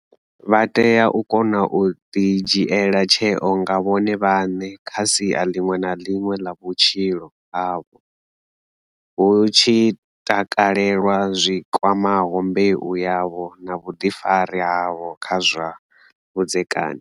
Vha tea u kona u ḓidzhiela tsheo nga vhone vhaṋe kha sia ḽiṅwe na ḽiṅwe ḽa vhutshilo havho, hu tshi takalelwa zwi kwamaho mbeu yavho na vhuḓifari havho kha zwa vhudzekani.